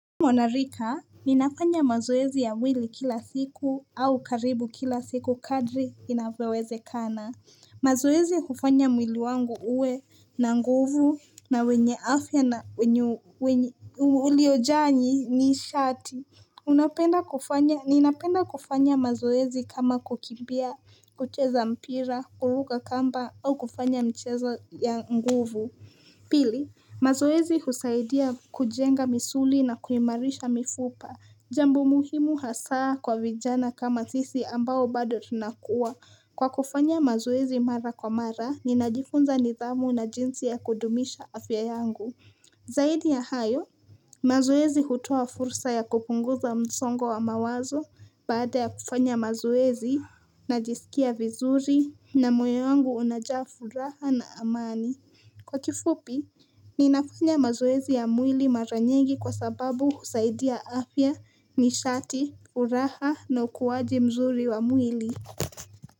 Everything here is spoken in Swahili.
Mwana rika, ninafanya mazoezi ya mwili kila siku au karibu kila siku kadri inavyowezekana. Mazoezi hufanya mwili wangu uwe na nguvu na wenye afya na uliojaa nishati. Unapenda kufanya, ninapenda kufanya mazoezi kama kukimbia, kucheza mpira, kuruka kamba au kufanya mchezo ya nguvu. Pili, mazoezi husaidia kujenga misuli na kuimarisha mifupa. Jambo muhimu hasaa kwa vijana kama sisi ambao bado tunakua. Kwa kufanya mazoezi mara kwa mara, ninajifunza nidhamu na jinsi ya kudumisha afya yangu. Zaidi ya hayo, mazoezi hutoa fursa ya kupunguza msongo wa mawazo, baada ya kufanya mazoezi, najisikia vizuri, na moyo wangu unajaa furaha na amani. Kwa kifupi, ninafanya mazoezi ya mwili mara nyingi kwa sababu husaidia afya, nishati, furaha na ukuaji mzuri wa mwili.